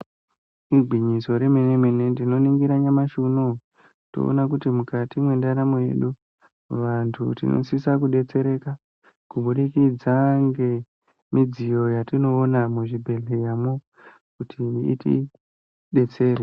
Igwinyiso remene mene tinoningira nyamashi unou tinoona kuti mukati mwendaramo yedu vantu tinosise kudetsereka kubudikidza ngemidziyo yatinoona muzvibhedhleramwo kuti itidetsere.